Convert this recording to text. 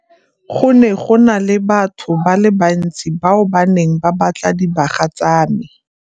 Go ne go na le batho ba le bantsi bao ba neng ba batla dibaga tsa me.